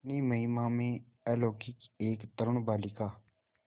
अपनी महिमा में अलौकिक एक तरूण बालिका